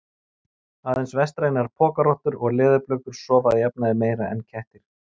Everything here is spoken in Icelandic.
Aðeins vestrænar pokarottur og leðurblökur sofa að jafnaði meira en kettir.